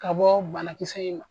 Ka bɔ banakisɛ in ma.